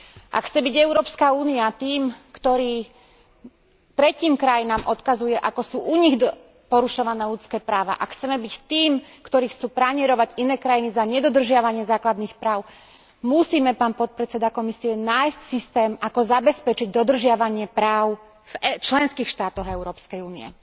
Ak chce byť EÚ tým, ktorý tretím krajinám odkazuje, ako sú u nich porušované ľudské práva, a chceme byť tým, ktorý chce pranierovať iné krajiny za nedodržiavanie základných práv, musíme, pán podpredseda Komisie, nájsť systém, ako zabezpečiť dodržiavanie práv v členských štátoch Európskej únie.